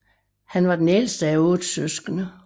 Han var den ældste af 8 søskende